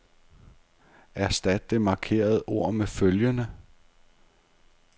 Erstat det markerede ord med følgende.